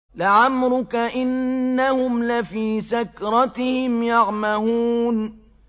لَعَمْرُكَ إِنَّهُمْ لَفِي سَكْرَتِهِمْ يَعْمَهُونَ